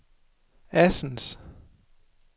Assens